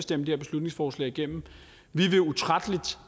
det her beslutningsforslag igennem vi vil utrætteligt